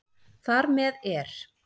Þar með er